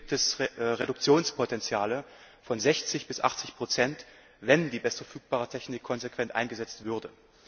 Hier gibt es Reduktionspotenziale von 60 bis 80 wenn die beste verfügbare Technik konsequent eingesetzt würde.